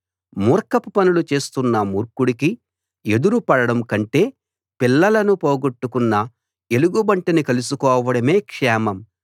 మూర్ఖపు పనులు చేస్తున్న మూర్ఖుడికి ఎదురు పడడం కంటే పిల్లలను పోగొట్టుకున్న ఎలుగుబంటిని కలుసుకోవడమే క్షేమం